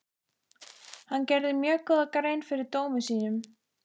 Hann gerði mjög góða grein fyrir dómi sínum.